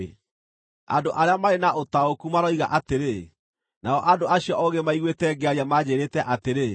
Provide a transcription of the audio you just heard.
“Andũ arĩa marĩ na ũtaũku maroiga atĩrĩ, nao andũ acio oogĩ maiguĩte ngĩaria manjĩĩrĩte atĩrĩ,